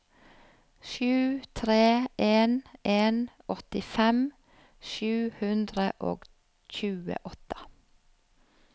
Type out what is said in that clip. sju tre en en åttifem sju hundre og tjueåtte